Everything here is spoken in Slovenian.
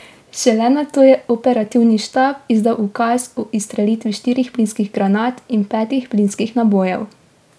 Šele nato je operativni štab izdal ukaz o izstrelitvi štirih plinskih granat in petih plinskih nabojev.